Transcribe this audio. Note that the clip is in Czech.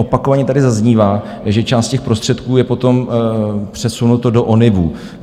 Opakovaně tady zaznívá, že část těch prostředků je potom přesunuto do ONIVů.